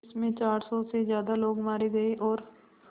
जिस में चार सौ से ज़्यादा लोग मारे गए और